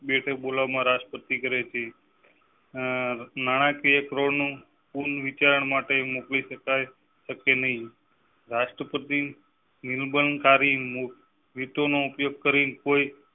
બેઠક બોલાવવા માં રાષ્ટ્રપતિ કરેં છે આહ ના ના કાર્યકરો નું પુન વિચાર માટે મોકલી શકાય શકે નહીં. રાષ્ટ્રપતિ નિર્બણકારી વિત ઓ નો ઉપયોગ કરી કોઈ